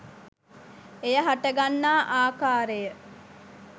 එය හටගන්නා ආකාරය